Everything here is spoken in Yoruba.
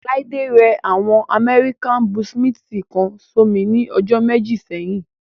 Láídé rẹ àwọn amẹ́ríkà búúṣímíntì kan sómi ní ọjọ́ méjì sẹ́yìn